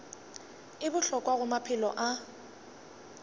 e bohlokwa go maphelo a